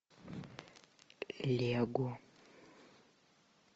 лего